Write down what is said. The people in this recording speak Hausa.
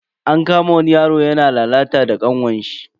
An kama wani yaro yana lalata da kanwarshi.